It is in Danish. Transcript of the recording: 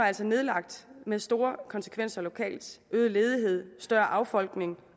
altså nedlagt med store konsekvenser lokalt øget ledighed større affolkning